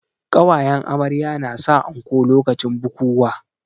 Ƙawayen amarya na sa anko lokacin bukuwa